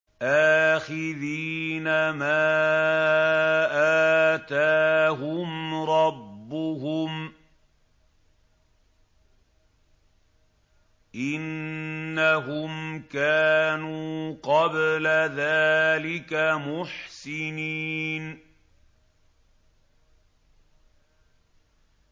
آخِذِينَ مَا آتَاهُمْ رَبُّهُمْ ۚ إِنَّهُمْ كَانُوا قَبْلَ ذَٰلِكَ مُحْسِنِينَ